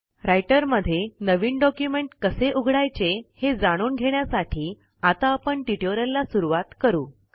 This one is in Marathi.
रायटरमध्ये नवीन डॉक्युमेंट कसे उघडायचे हे जाणून घेण्यासाठी आता आपण ट्युटोरियलला सुरूवात करू